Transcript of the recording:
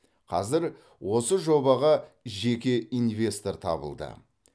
қазір осы жобаға жеке инвестор табылды